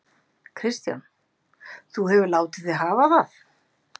Kristján: Þú hefur látið þig hafa það?